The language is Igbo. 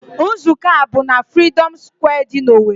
Nzụkọ a bụ n'Freedom Square dị n'Owerri.